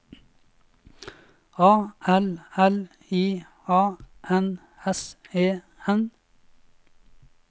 A L L I A N S E N